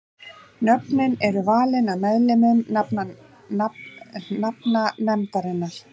Nöfnin eru valin af meðlimum nafnanefndarinnar.